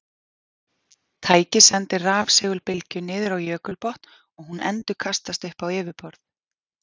Tækið sendir rafsegulbylgju niður á jökulbotn og hún endurkastast upp á yfirborð.